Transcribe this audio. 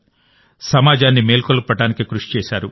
సమాజాన్ని మేల్కొల్పడానికి కృషి చేశారు